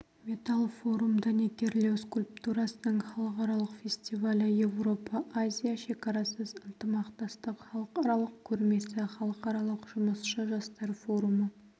металл форум дәнекерлеу скульптурасының халықаралық фестивалі европа-азия шекарасыз ынтымақтастық халықаралық көрмесі халықаралық жұмысшы жастар форумы